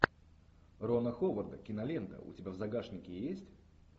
рона ховарда кинолента у тебя в загашнике есть